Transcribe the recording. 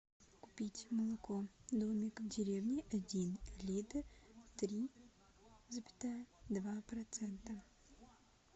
купить молоко домик в деревне один литр три запятая два процента